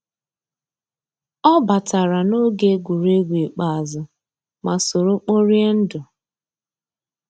ọ batàrà n'ògé égwuégwu ikpéázụ́, má sòró kpòríé ndù.